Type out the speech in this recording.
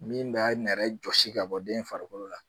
Min b'a nɛrɛ jɔsi ka bɔ den farikolo la